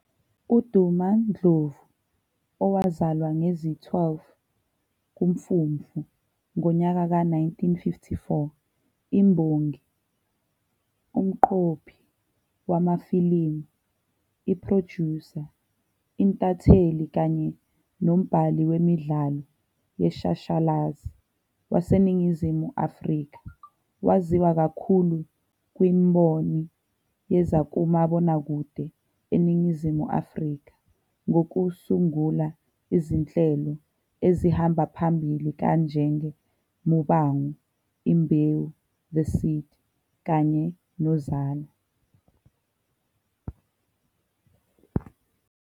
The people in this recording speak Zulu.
UDuma Ndlovu, owazalwa ngezi-12 kuMfumfu ngonyaka ka-1954, imbongi, umqophi wamafilimu, i-producer, intatheli kanye nombhali wemidlalo yeshashalazi waseNingizimu Afrika. Waziwa kakhulu kwimboni yezakumabonakude eNingizimu Afrika, ngokusungula izinhlelo ezihamba phambili kanjenge "Muvhango", "Imbewu- The Seed" kanye no-"Uzalo".